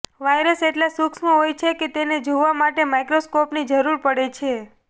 virus એટલા સૂક્ષ્મ હોય છે કે તેને જોવા માટે માઈક્રોસ્કોપની જરૂર પડે છે